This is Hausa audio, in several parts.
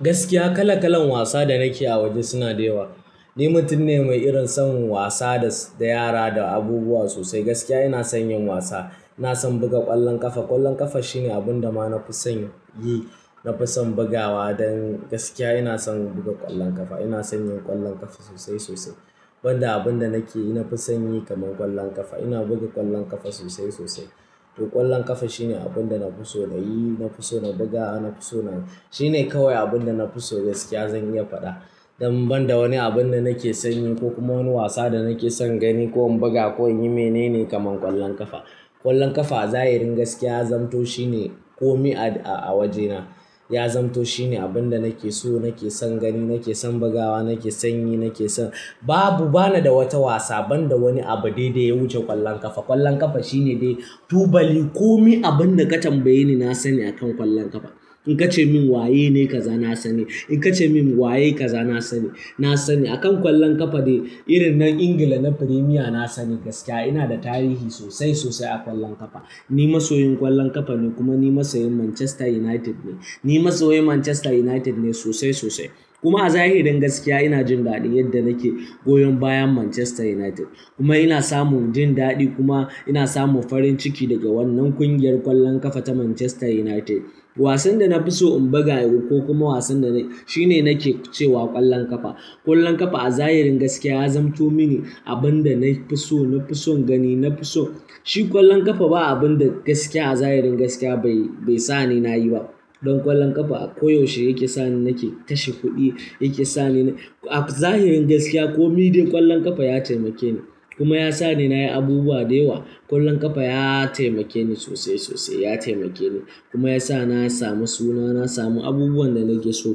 Gaskiya, kala-kalan wasa da nake a waje suna da yawa. Ni mutum ne mai irin son wasa da yara da abubuwa sosai. Gaskiya, ina son yin wasa. Na san buga ƙwallon ƙafa. Ƙwallon ƙafa shine abin da ma na fi son yi, na fi son bugawa. Don gaskiya ina son buga ƙwallon ƙafa. Ina son yin ƙwallon ƙafa sosai sosai. Ban da abin da nake ina fi son yi kamar ƙwallon ƙafa. Ina buga ƙwallon ƙafa sosai sosai. To, ƙwallon ƙafa shine abin da na fi so na yi, na fi so na buga, na fi so na shine kawai abin da na fi so gaskiya zan iya faɗa. Don ban da wani abin da nake son yin ko kuma wani wasa da nake son gani ko in buga ko in yi mene ne kamar ƙwallon ƙafa. Ƙwallon ƙafa a zahirin gaskiya zamto shine kome a wajena. Ya zamto shine abin da nake so, nake son gani, nake son bugawa, nake son yi, nake son. Babu, bana da wata wasa ban da wani abu dai dai ya wuce ƙwallon ƙafa. Ƙwallon ƙafa shine dai tubali. Kome abin da ka tambaye ni, na sani akan ƙwallon ƙafa. In ka ce min waye ne, kaza, na sani. In ka ce min waye kaza, na sani. Na sani. Akan ƙwallon ƙafa dai, irin na England na Premier na sani gaskiya. Ina da tarihi sosai sosai a ƙwallon ƙafa. Ni masoyin ƙwallon ƙafa ne kuma ni masoyin Manchester United ne. Ni masoyin Manchester United ne sosai sosai. Kuma a zahirin gaskiya, ina jin daɗin yadda nake goyon bayan Manchester United. Kuma ina samun jin daɗi kuma ina samun farin ciki daga wannan ƙungiyar ƙwallon ƙafa ta Manchester United. Wasan da na fi so in buga yau ko kuma wasan da shine nake cewa ƙwallon ƙafa. Ƙwallon ƙafa a zahirin gaskiya ya zamto mini abin da na fi so, na fi son gani, na fi so. Shi ƙwallon ƙafa ba abin da gaskiya a zahirin gaskiya bai sa ni na yi ba. Don ƙwallon ƙafa a koyaushe yake sa ni nake tashi kuɗi, yake sa ni a zahirin gaskiya kome dai ƙwallon ƙafa ya taimake ni. Kuma ya sa ni na yi abubuwa da yawa. Ƙwallon ƙafa ya taimake ni sosai sosai, ya taimake ni. Kuma ya sa na sami suna, na samu abubuwan da nake so.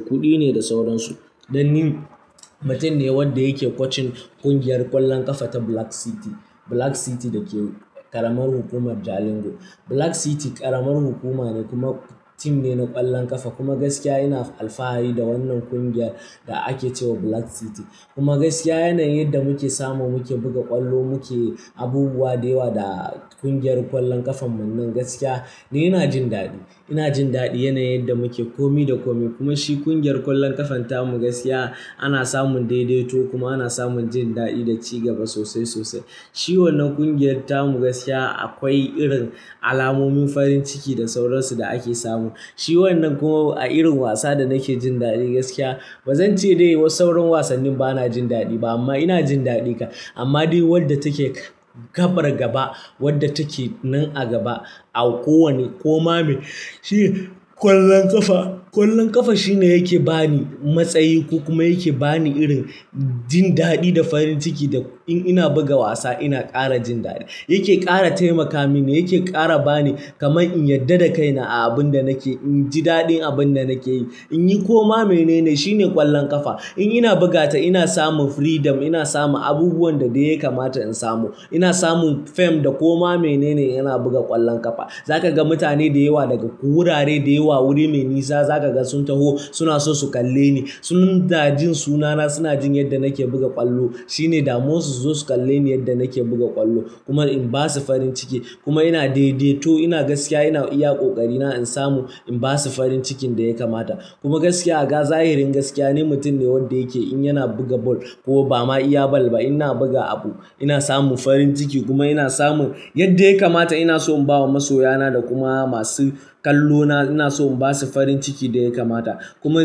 Kuɗi ne da sauransu. Dan ni mutum ne wanda yake kocin ƙungiyar ƙwallon ƙafa ta Black City. Black City da ke ƙaramar hukumar Jalingo. Black City ƙaramar hukuma ne kuma tim ne na ƙwallon ƙafa. Kuma gaskiya ina alfahari da wannan ƙungiyar da ake cewa Black City. Kuma gaskiya yanayin yadda muke samu muke buga ƙwallo muke abubuwa da yawa da ƙungiyar ƙwallon ƙafanmu nan gaskiya, dai ina jin daɗi. Ina jin daɗi yanayin yadda muke kome da kome. Kuma shi ƙungiyar ƙwallon ƙafan ta mu gaskiya ana samun daidaito kuma ana samun jin daɗi da cigaba sosai sosai. Shi wannan ƙungiyar ta mu gaskiya akwai irin alamomin farin ciki da sauransu da ake samu. Shi wannan kuma a irin wasa da nake jin daɗi gaskiya. Ba zan ce dai was sauran wasanni ba na jin daɗi ba amma ina jin daɗi. Amma dai wadda take gabar gaba, wadda take nan a gaba a kowane koma mai shi ƙwallon ƙafa, ƙwallon ƙafa shine yake ba ni matsayi ko kuma yake ba ni irin jin daɗi da farin ciki da in ina buga wasa ina ƙara jin daɗi. Yake ƙara taimaka mini, yake ƙara ba ni kamar in yarda da kaina a abin da nake, in ji daɗin abin da nake yi. In yi koma mene ne, shine ƙwallon ƙafa. In ina bugata ina samun freedom, ina samun abubuwan da dai ya kamata in samu. Ina samun fame da koma mene ne yana buga ƙwallon ƙafa. Za ka ga mutane da yawa daga wurare da yawa, wuri mai nisa, za ka ga sun taho suna so su kalle ni. Suna jin sunana, suna jin yadda nake buga ƙwallo. Shine damuwar su zo su kalle ni yadda nake buga ƙwallo kuma in ba su farin ciki. Kuma ina daidaito, ina gaskiya ina iya ƙoƙari na in samu, in ba su farin cikin da ya kamata. Kuma gaskiya a zahirin gaskiya, ni mutum ne wanda yake in yana buga ball ko ba ma iya ball ba, ina buga abu, ina samun farin ciki kuma ina samun yadda ya kamata ina so in ba wa masoya na da kuma masu kallona, ina so in ba su farin ciki da ya kamata. Kuma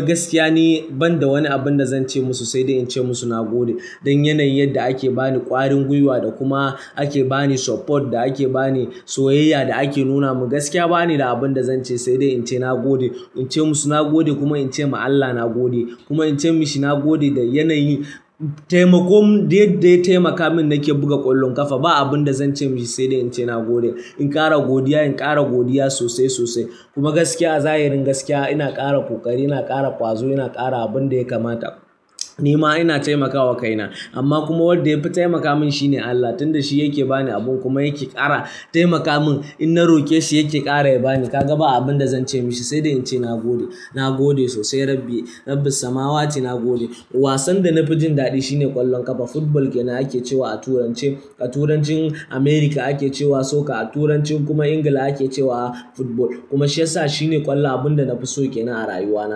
gaskiya ni ban da wani abin da zan ce musu sai dai in ce musu na gode. Don yanayin yadda ake ba ni ƙwarin gwiwa da kuma ake ba ni support da ake ba ni soyayya da ake nuna min gaskiya ba ni da abin da zan ce sai dai in ce na gode. In ce musu na gode kuma in ce ma Allah na gode. Kuma in ce mishi na gode da yanayin taimakon dai dai ya taimaka min da nake buga ƙwallon ƙafa. Ba abin da zan ce mishi sai dai in ce na gode. In ƙara godiya, in ƙara godiya sosai sosai. Kuma gaskiya a zahirin gaskiya ina ƙara ƙoƙari, ina ƙara ƙwazo, ina ƙara abin da ya kamata. Ni ma ina taimakawa kaina. Amma kuma wadda ya fi taimaka min shine Allah. Tunda shi yake ba ni abun kuma yake ƙara taimaka min. In na roƙe shi yake ƙara ya ba ni. Ka ga ba abin da zan ce mishi sai dai in ce na gode. Na gode sosai Rabbi. Rabbis samawati na gode. Wasan da na fi jin daɗi shine ƙwallon ƙafa. Football ke na ake cewa a Turanci. A Turancin America ake cewa soccer, a Turancin kuma England ake cewa football. Kuma shi ya sa shine ƙwallon abun da na fi so ke nan a rayuwa na.